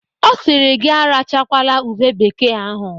O siri gi arachakwala ube bekee ahụ!